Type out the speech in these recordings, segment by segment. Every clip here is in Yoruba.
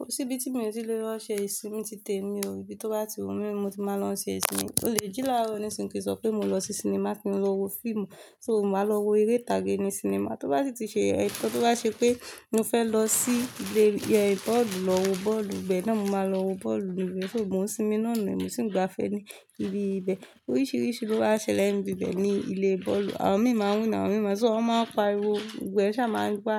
Kò sí ibi tí mi ò tíì lò lọ ṣe ìsinmi títí ẹ̀mi ò rí bí tó bá ti wù mí, mo ti máa lọ ṣe ìsinmi. Mo lè jẹ́ láàárọ̀ nísìnyí kí sọ pé mo lọ sí sinimá kí n lọ wo fíìmù, so mò máa lọ wo eré tàgé ní sinimá. Tó bá sì ti ṣe ẹ̀, nǹkan tó bá ṣe pé mo fẹ́ lọ sí ilé, ẹ, bọ́ọ̀lù lọ wo bọ́ọ̀lù ibẹ̀ náà, mo máa lọ wo bọ́ọ̀lù ibẹ̀. Só mó n ó sinmi náà ni, mo sì ń gbafẹ́ ní ibi ibẹ̀. Oríṣìíríṣìí ló wá ṣẹlẹ̀ ní ibi ibẹ̀ ní ilé bọ́ọ̀lù. Àwọn mìí ma win àwọn mìíràn, so wọ́n máa ń pa ariwo, ibẹ́ ṣá máa ń gba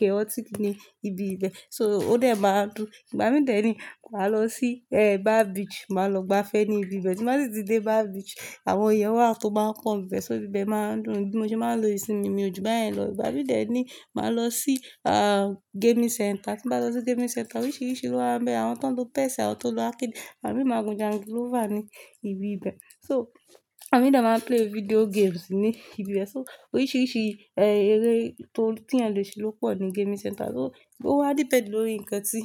chaotic ní ibi ibẹ̀. So ó dẹ̀ máa n dùn. Ìgbà mìí dẹ ni màá lọ sí, ẹ́, Bar Beach, màá lọ gbafẹ́ ní ibi ibẹ̀. Tí mo bá sì ti dé Bar Beach, àwọn èèyàn wá tó máa pọ́n bẹ̀, so ibi ibẹ̀ máa ń dùn bí mo ṣe máa ń lo ìsinmi mi ojú bayẹn lọ. Ìgbà mìí dẹ ni màá lọ sí, à, gaming center. Tí màá lọ sí gaming center, oríṣìíríṣìí ló wà níbẹ̀. Àwọn tó ń lo chess, àwọn tó ń lo arcade, àwọn mìí máa n gun jangilófà ní ibi ibẹ̀. So à mí dà máa play video games ní ibi ibẹ̀. So oríṣìíríṣìí, ẹ́, eré tó, tí èèyàn lè ṣe ló pọ̀ ní gaming center. So ó wá depend lórí nǹkan tí,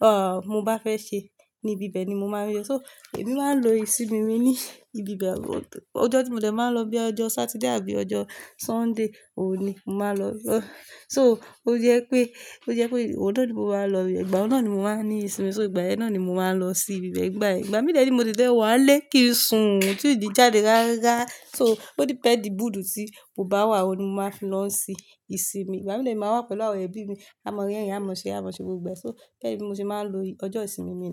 à, mo bá fẹ́ ṣe ní ibi ibẹ̀ ni mo máa n lo. So èmi máa ń lo ìsinmi mi ní ibi ibẹ̀. Ọjọ́ tí mo dẹ̀ máa n lọ bí ọjọ́ Saturday àbí ọjọ́ Sunday, òun ní mo máa lọ. So ó jẹ́ pé, ó jẹ́ pé ọdo ni mo máa n lọ ibẹ̀, ìgbà yẹn ni mo máa ní ìsinmi, so ìgbà yẹn náà ni mo máa n lọ sí ibi ibẹ̀ ìgbà yẹn. Ìgbà mìí dẹ ni mo ti lè wá n lé kí n sùn tún di jáde ráárá. So ó depend mood tí mo bá wà, oun ni mo máa lọ si sinmi. Ìgbà mìí dẹ ni màá wá pẹ̀lú àwọn ẹbí mi, aa mọ rẹ̀rìn, à mọ ṣe, à mọ ṣe gbogbo ẹ. So bẹẹ ki mo ṣe máa ń lo ọjọ́ ìsinmi mi.